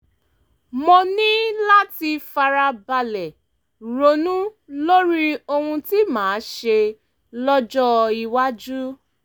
mo ní láti fara balẹ̀ ronú lórí ohun tí màá ṣe lọ́jọ́ iwájú